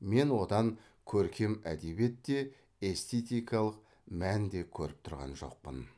мен одан көркем әдебиет те эстетикалық мән де көріп тұрған жоқпын